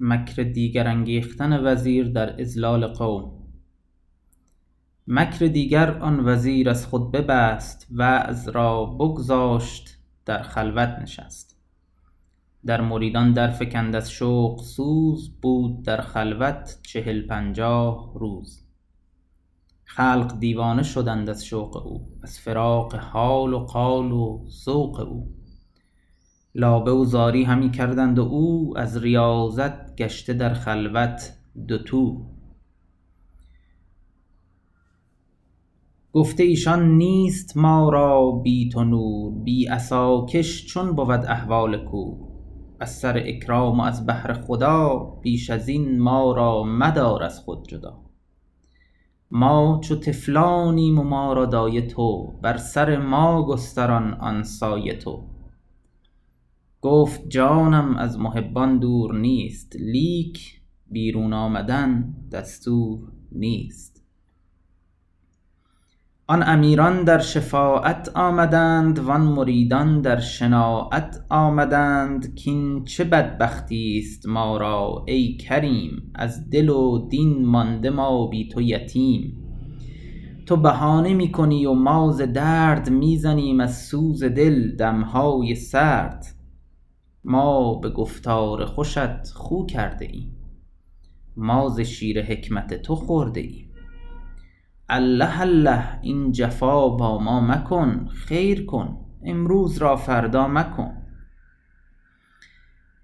مکر دیگر آن وزیر از خود ببست وعظ را بگذاشت و در خلوت نشست در مریدان در فکند از شوق سوز بود در خلوت چهل پنجاه روز خلق دیوانه شدند از شوق او از فراق حال و قال و ذوق او لابه و زاری همی کردند و او از ریاضت گشته در خلوت دوتو گفته ایشان نیست ما را بی تو نور بی عصاکش چون بود احوال کور از سر اکرام و از بهر خدا بیش ازین ما را مدار از خود جدا ما چو طفلانیم و ما را دایه تو بر سر ما گستران آن سایه تو گفت جانم از محبان دور نیست لیک بیرون آمدن دستور نیست آن امیران در شفاعت آمدند وان مریدان در شناعت آمدند کین چه بدبختیست ما را ای کریم از دل و دین مانده ما بی تو یتیم تو بهانه می کنی و ما ز درد می زنیم از سوز دل دمهای سرد ما به گفتار خوشت خو کرده ایم ما ز شیر حکمت تو خورده ایم الله الله این جفا با ما مکن خیر کن امروز را فردا مکن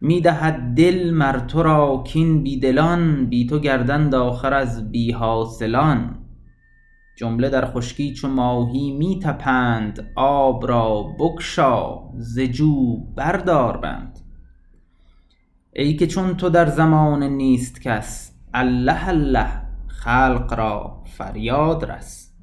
می دهد دل مر ترا کین بی دلان بی تو گردند آخر از بی حاصلان جمله در خشکی چو ماهی می طپند آب را بگشا ز جو بر دار بند ای که چون تو در زمانه نیست کس الله الله خلق را فریاد رس